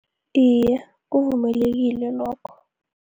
Iye, kuvumelekile lokho.